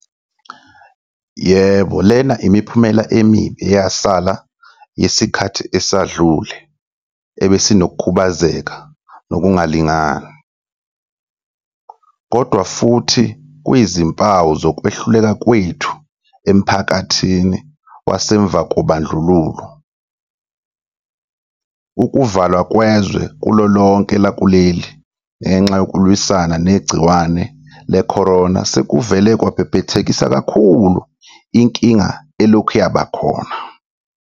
Yebo, lena imiphumela emibi eyasala yesikhathi esedlule ebesinokukhubazeka nokungalingani. Kodwa futhi kuyizimpawu zokwehluleka kwethu emphakathini wasemva kobandlululo. Ukuvalwa kwezwe kulolonke lakuleli ngenxa yokulwisana negciwane le-corona sekuvele kwabhebhethekisa kakhulu inkinga elokhu yabakhona.